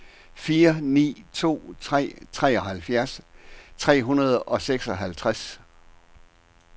fire ni to tre treoghalvfjerds tre hundrede og seksoghalvtreds